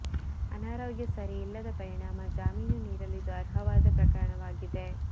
ಅನಾರೋಗ್ಯ ಸರಿ ಇಲ್ಲದ ಪರಿಣಾಮ ಜಾಮೀನು ನೀಡಲು ಇದು ಅರ್ಹವಾದ ಪ್ರಕರಣವಾಗಿದೆ